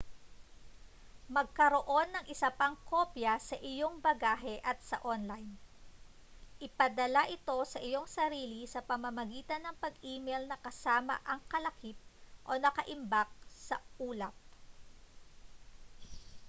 magkaroon ng isa pang kopya sa iyong bagahe at sa online ipadala ito sa iyong sarili sa pamamagitan ng pag-e-mail na kasama ang kalakip o nakaimbak sa ulap"